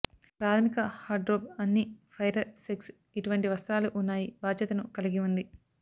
ప్రాథమిక వార్డ్రోబ్ అన్ని ఫైరర్ సెక్స్ ఇటువంటి వస్త్రాలు ఉన్నాయి బాధ్యతను కలిగి ఉంది